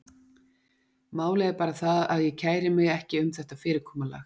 Málið er bara það, að ég kæri mig ekki um þetta fyrirkomulag.